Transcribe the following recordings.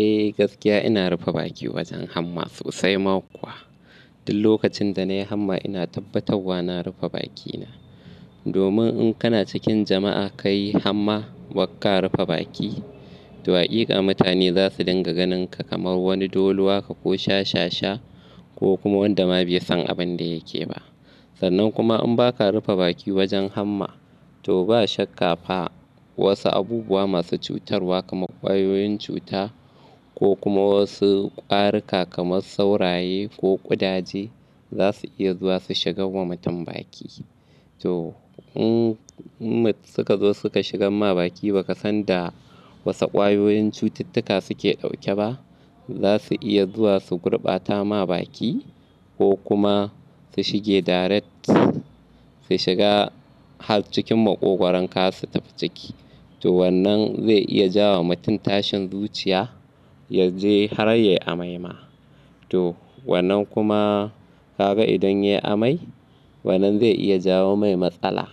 Eh gaskiya ina rufe baki wajen hamma sosai ma kuwa. Duk lokacin da na yi hamma ina tabbatarwa na rufe bakina. Domin in kana cikin jama'a ka yi hamma, baka rufe baki, to hakika mutane za su dinga ganin ka kamar wani dolo haka ko shashasha ko kuma wanda ma bai san abin da yake ba. Sannan kuma in baka rufe baki wajen hamma, to ba shakka ba wasu abubuwa masu cutarwa kamar ƙwayoyin cuta ko kuma wasu ƙwaruka kamar sauraye ko ƙudaje za su iya zuwa su shigaw wa mutum baki. To in suka zo suka shigam ma baki, ba ka san da wasu ƙwayoyin cututtuka suke ɗauke ba, za su iya zuwa su gurbata ma baki ko kuma su shige direct, su shiga har cikin ma ƙogwaron ka har su tafi ciki. To wannan zai iya ja wa mutum tashin zuciya, ya je har ya yi amai ma. To wannan kuma kaga idan ya yi amai wannan zai iya ja wa mai matsala.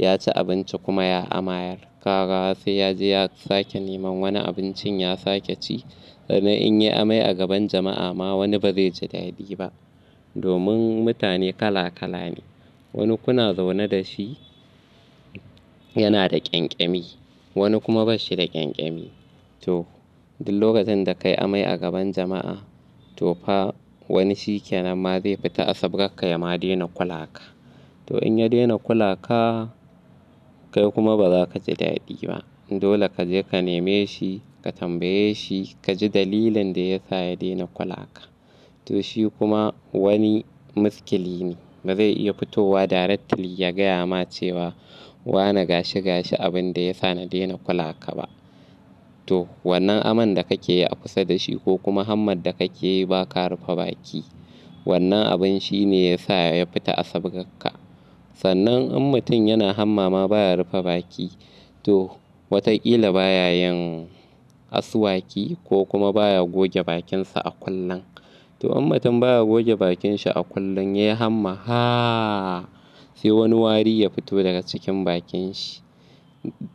Ya ci abinci kuma ya amayar. Kaga sai ya je ya sake neman wani abincin ya sake ci. Sannan in ya yi amai a gaban jama'a ma wani ba zai ji dadi ba. Domin mutane kala kala ne. Wani kuna zaune da shi yana da ƙyanƙyami, wani kuma ba shi da ƙyanƙyami. To duk lokacin da ka yi amai a gaban jama'a, to fa wani shikenan ma zai fita, asabbgarka ya ma dena kula ka. To in ya dena kula ka, kai kuma ba za ka ji dadi ba. Dole ka je ka neme shi, ka tambaye shi ka ji dalilin da ya sa ya dena kula ka. To shi kuma wani muskiline ba zai iya fitowa directly ya gaya ma cewa "Wane gashi gashi abin da ya sa na dena kula ka ba." To wannan aman da kake yi a kusa da shi ko kuma hammar da kake yi ba ka rufe baki, wannan abun shi ne ya sa ya fita asabbgarka. Sannan in mutum yana hamma ma baya rufe baki, to wataƙila baya yin asuwaki ko kuma baya goge bakinsa a kullun. To in mutum baya goge bakinshi a kullun, ya yi hamma, haaa sai wani wari ya fito daga cikin bakin shi.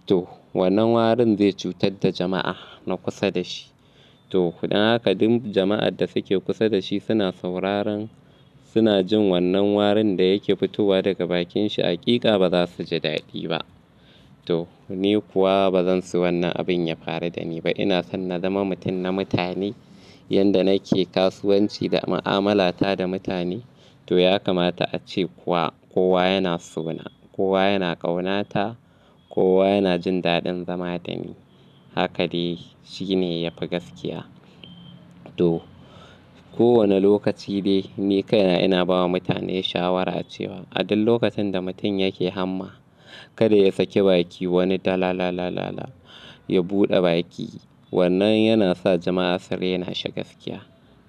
To wannan warin zai cutar da jama'a na kusa da shi. To dan haka duk jama'ar da suke kusa da shi suna sauraron, suna jin wannan warin da yake fitowa daga bakin shi a ƙiƙa ba za su ji dadi ba. To ni kuwa ba zan so wannan abin ya faru da ni ba. Ina son na zama mutum na mutane. Yanda nake kasuwanci da mu'amalata da mutane, to ya kamata ace kuwa kowa yana so na, kowa yana ƙaunata, kowa yana jin dadin zama da ni. Haka dai shi ne ya fi gaskiya. To kowane lokaci dai ni kai na ina bawa mutane shawara cewa a duk lokacin da mutum yake hamma, kada ya sake baki. Wani da la la la la la ya buɗe baki. Wannan yana sa jama'a su rena shi gaskiya.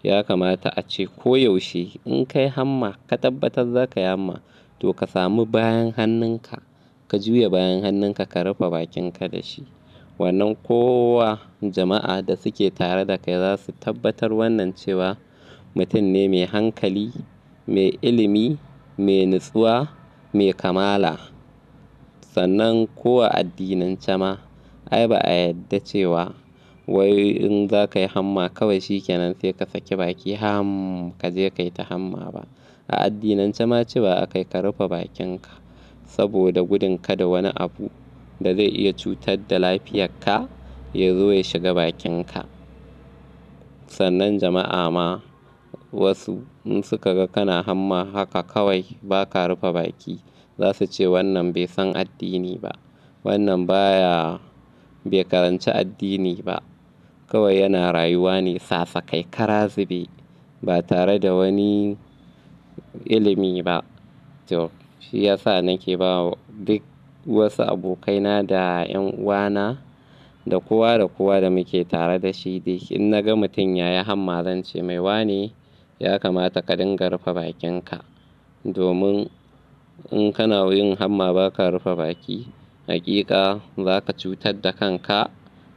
Ya kamata ace ko yaushe in ka yi hamma ka tabbatar zakayi hamma to ka sami bayan hannunka, ka juya bayan hannunka ka rufe bakinka da shi. Wannan kowa jama'a da suke tare da kai za su tabbatar wannan cewa mutum ne mai hankali, mai ilimi, mai natsuwa, mai kamala. Sannan ko a addinance ma ai ba a yadda cewa wai in za ka yi hamma kawai shikenan sai ka sake baki ham ka je ka yi ta hamma ba. A addinance ma cewa a kai ka rufe bakinka saboda gudun ka da wani abu da zai iya cutar da lafiyarka ya zo ya shiga bakinka. Sannan jama'a ma wasu in suka ga kana hamma haka kawai ba ka rufe baki, za su ce wannan bai san addini ba. Wannan baya, bai karanci addini ba. Kawai yana rayuwa ne sasakai karazube ba tare da wani ilimi ba. To shi ya sa nake bawa duk wasu abokaina da 'yan uwana da kowa da kowa da muke tare da shi dai in naga mutum ya yi hamma, zance mai wane, ya kamata ka dinga rufe bakinka. Domin in kana yin hamma ba ka rufe baki, hakika za ka cutar da kanka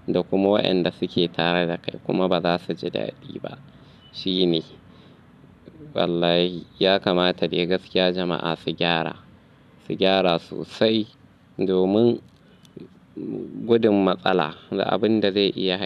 da kuma waɗanda suke tare da kai kuma ba za su ji dadi ba. Shi ne. Wallahi ya kamata dai gaskiya jama'a su gyara, su gyara sosai domin gudun matsala da abun da zai iya ha--